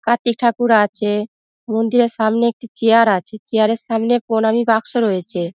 কার্তিক ঠাকুর আচে মন্দিরের সামনে একটি চেয়ার আচে | চেয়ার -এর সামনে পোনামি বাক্স রয়েচে |